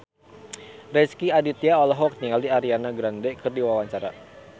Rezky Aditya olohok ningali Ariana Grande keur diwawancara